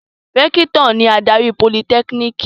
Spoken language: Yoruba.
Rẹ́kítọ̀ ni adarí Politẹ́kínìkì.